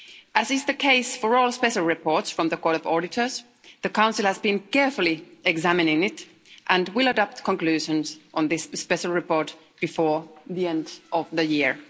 As is the case for all special reports from the Court of Auditors, the Council has been carefully examining it and will adopt conclusions on this special report before the end of the year.